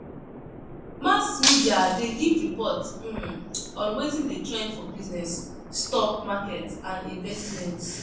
Mass media de give report um on wetin de trend for business, stock market and investments